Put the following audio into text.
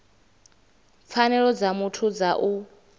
pfanelo dza muthu dza u